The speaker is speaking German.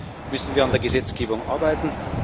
Deswegen müssen wir an der Gesetzgebung arbeiten.